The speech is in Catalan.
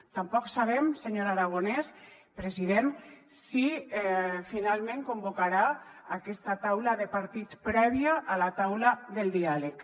tampoc sabem senyor aragonès president si finalment convocarà aquesta taula de partits prèvia a la taula del diàleg